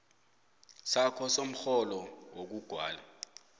sakho somrholo wokuqhwala